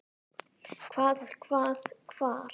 Hvað. hvað. hvar.